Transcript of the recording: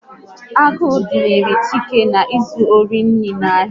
Agụụ dunyere Chike na izu ohi nri n'ahia